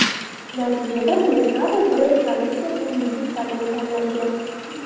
Natijada Merkado brend kolleksiyasining yuzi sifatida tanlangan.